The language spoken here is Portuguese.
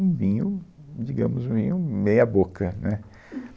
Um vinho, digamos, meio, meia boca, né.